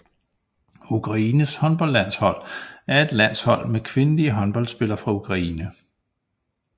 Ukraines håndboldlandshold er et landshold med kvindelige håndboldspillere fra Ukraine